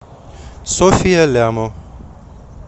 софья лямо